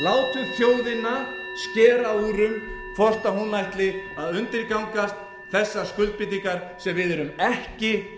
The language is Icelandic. um hvort hún ætli að undirgangast þessar skuldbindingar sem við erum ekki